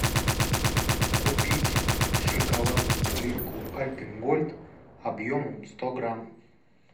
купить шоколадную плитку альпен гольд объемом сто грамм